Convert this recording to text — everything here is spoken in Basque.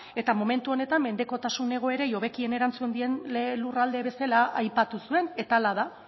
eta momentu honetan mendekotasun egoerei hobekien erantzun dien lurralde bezala aipatu zuen eta hala da